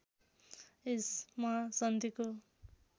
यस महासन्धिको